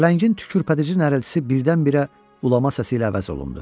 Pələngin tükürpədici nərəltisi birdən-birə ulama səsi ilə əvəz olundu.